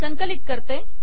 संकलित करते